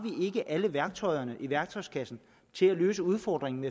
alle værktøjer i værktøjskassen til at løse udfordringen